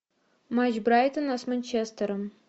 матч брайтона с манчестером